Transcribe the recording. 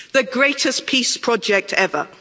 The greatest peace project ever.